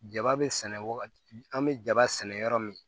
Jaba be sɛnɛ wagati an be jaba sɛnɛ yɔrɔ min